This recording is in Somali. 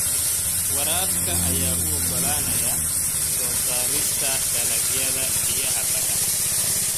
Waraabka ayaa u oggolaanaya soo saarista dalagyada biyaha-badan.